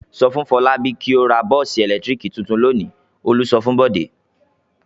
"Sọ fún Fọlábí kí ó ra bọ́ọ́sì ẹ̀lẹ́tíríkì tuntun lónìí!" Olú sọ fún Bọ̀dé.